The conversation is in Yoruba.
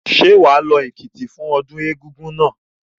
Ṣé wà á lọ Èkìtì fún ọdún Egúngún náà?